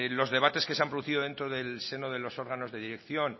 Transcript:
los debates que se han producido dentro del seno de los órganos de dirección